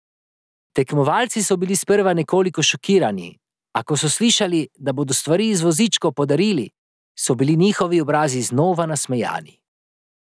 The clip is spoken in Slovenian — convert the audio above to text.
Tekmovalci so bili sprva nekoliko šokirani, a ko so slišali, da bodo stvari iz vozičkov podarili, so bili njihovi obrazi znova nasmejani.